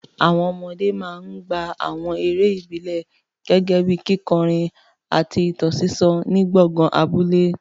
Àwọn ọmọdé máa ń gbá àwọn eré ìbílẹ̀ gẹ́gẹ́ bíi kíkọrin àti ìtàn sísọ ní gbọ̀ngàn abúlé.